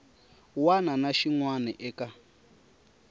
wana na xin wana eka